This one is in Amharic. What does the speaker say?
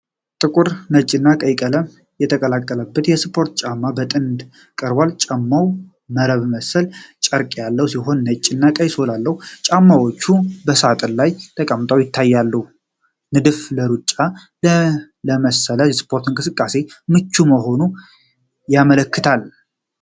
ጥቁር፣ ነጭና ቀይ ቀለም የተቀላቀለበት የስፖርት ጫማ በጥንድ ቀርቧል። ጫማው መረብ መሰል ጨርቅ ያለው ሲሆን ነጭና ቀይ ሶል አለው። ጫማዎቹ በሳጥን ላይ ተቀምጠው ይታያሉ። ንድፉ ለሩጫና ለመሰል ስፖርታዊ እንቅስቃሴዎች ምቹ መሆኑን ያመለክታል።